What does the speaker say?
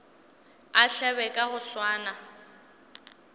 a hlabe ka go swana